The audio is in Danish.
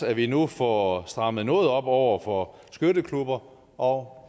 at vi nu får strammet noget op over for skytteklubber og